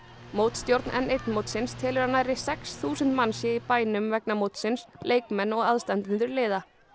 mótstjórn n eins mótsins telur að nærri sex þúsund manns séu í bænum vegna mótsins leikmenn og aðstandendur liða